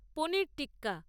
paneer tikka